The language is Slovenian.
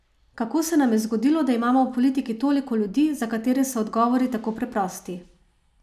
Kako se nam je zgodilo, da imamo v politiki toliko ljudi, za katere so odgovori tako preprosti?